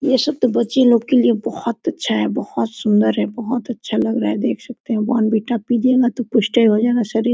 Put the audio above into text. ये सब तो बच्चे लोग के लिए बहोत अच्छा है बहोत सुंदर है बहोत अच्छा लग रहा है देख सकते है बॉर्नवीटा पीजिये गा तो पुष्टे हो जाये गा शरीर--